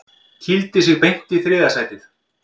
Kýldi sig beint í þriðja sætið